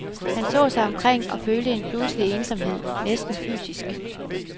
Han så sig omkring og følte en pludselig ensomhed, næsten fysisk.